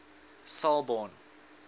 selborne